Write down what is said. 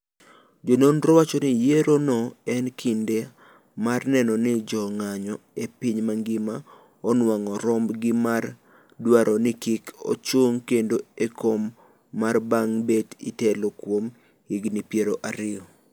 Jononro wacho ni yiero no en kinda mar neno ni jo ng'anyo e piny mangima onuang'o romb gi mar dwaro ni kik ochung' kendo e kom ker bang' bet itelo kuom higni piero ariyo